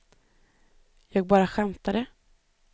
jag bara skämtade